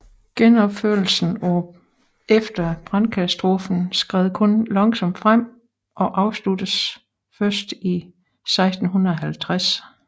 Genopførelsen efter brandkatastrofen skred kun langsomt frem og afsluttedes først i 1650